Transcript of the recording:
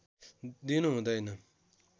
दिनु हुँदैन